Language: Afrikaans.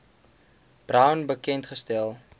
brown bekend gestel